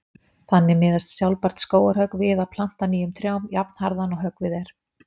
Þannig miðast sjálfbært skógarhögg við að planta nýjum trjám jafnharðan og höggvið er.